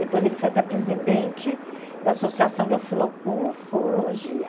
Depois, ele foi até presidente da Associação de Ufolo Ufologia.